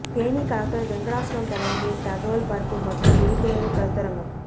Theni collector Venkatachalam தலைமையில் தகவல் பரப்பு மற்றும் விழிப்புணர்வு கருத்தரங்கம்